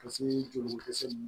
Ka se jolikisɛ